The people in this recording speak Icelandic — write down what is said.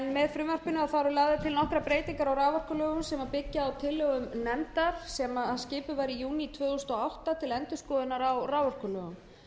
með frumvarpinu eru lagðar til nokkrar breytingar á raforkulögum sem byggja á tillögum nefndar sem skipuð var í júní tvö þúsund og átta til endurskoðunar á raforkulögum en